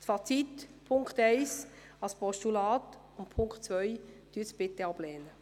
Fazit: Nehmen Sie den Punkt 1 als Postulat an, und lehnen Sie den Punkt 2 ab.